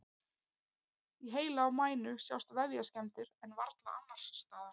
Í heila og mænu sjást vefjaskemmdir en varla annars staðar.